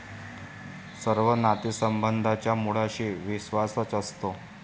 सर्व नातेसंबंधांच्या मुळाशी विश्वासच असतो.